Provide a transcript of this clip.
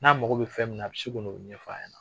N'a mago bɛ fɛn min na, a bi se ka n'o ɲɛfɔ ɲɛna.